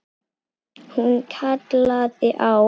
Hún kallaði á